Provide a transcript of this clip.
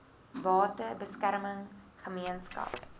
bate beskerming gemeenskaps